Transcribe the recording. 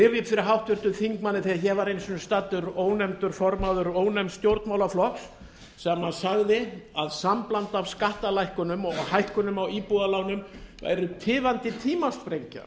upp fyrir háttvirtum þingmanni að þegar ég var einu sinni staddur ónefndur formaður ónefnds stjórnmálaflokks sem hann sagði að sambland af skattalækkunum og hækkunum á íbúðalánum væru tifandi tímasprengja